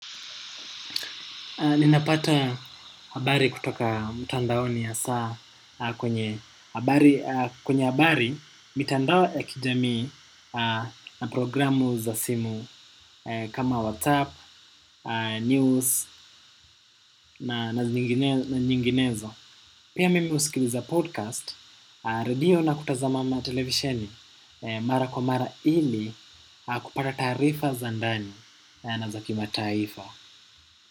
Ninapata habari kutoka mtandaoni hasa kwenye kwenye habari mitandao ya kijamii na programu za simu kama WhatsApp, News na nyinginezo. Pia mimi usikiliza podcast, radio na kutazama na televisheni mara kwa mara ili kupata taarifa za ndani na za kimataifa.